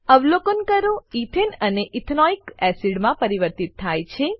અવલોકન કરો એથને એ ઇથેનોઇક એસિડ માં પરિવર્તિત થાય છે